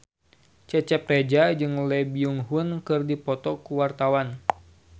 Cecep Reza jeung Lee Byung Hun keur dipoto ku wartawan